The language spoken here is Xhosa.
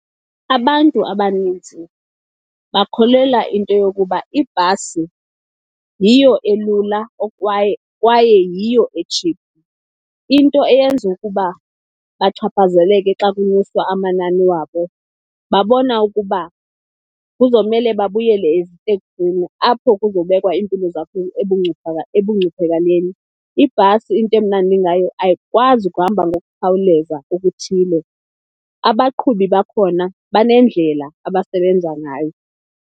Abantu abaninzi bakholelwa into yokuba ibhasi yiyo elula kwaye yiyo etshiphu. Into eyenza ukuba bachaphazeleke xa kunyuswa amanani wabo babona ukuba kuzomele babuyele eziteksini apho kuzobekwa iimpilo ebungcuphakaleni. Ibhasi into emnandi ngayo ayikwazi kuhamba ngokukhawuleza okuthile, abaqhubi bakhona banendlela abasebenza ngayo.